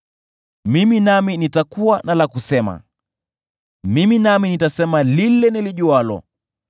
Mimi nami nitakuwa na la kusema; mimi nami nitasema lile nilijualo.